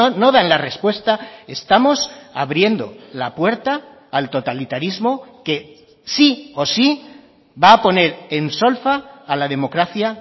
no dan la respuesta estamos abriendo la puerta al totalitarismo que sí o sí va a poner en solfa a la democracia